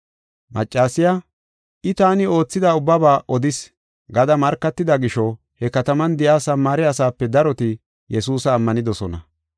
Maccasiya, “I, taani oothida ubbaba odis” gada markatida gisho he kataman de7iya Samaare asaape daroti Yesuusa ammanidosona.